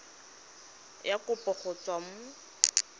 ya kopo go tswa mo